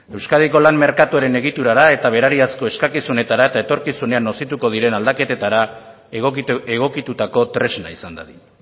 euskadiko lan merkatuaren egiturara eta berariazko eskakizunetara eta etorkizunean nozituko diren aldaketetara egokitutako tresna izan dadin